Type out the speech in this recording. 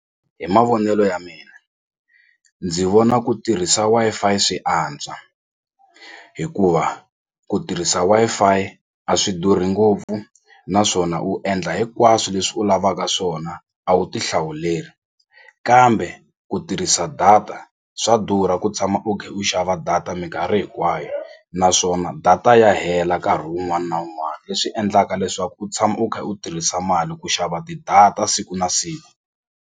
Hi mavonelo ya mina ndzi vona ku tirhisa Wi-Fi swi antswa hikuva ku tirhisa Wi-Fi a swi durhi ngopfu naswona u endla hinkwaswo leswi u lavaka swona a wu ti hlawuleli kambe ku tirhisa data swa durha ku tshama u khe u xava data minkarhi hinkwayo naswona data ya hela nkarhi wun'wani na wun'wani leswi endlaka leswaku u tshama u kha u tirhisa mali ku xava ti-data siku na siku.